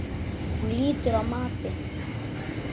Hún lýtur mati.